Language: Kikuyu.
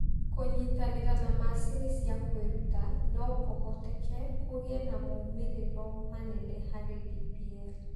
Kũnyitanĩra na macini cia kwĩruta, no kũhoteke gũgĩe na moimĩrĩro manene harĩ DPL.